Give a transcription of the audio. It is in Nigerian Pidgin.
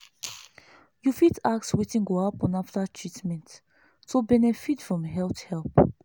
you fit ask wetin go happen after treatment to benefit from health help.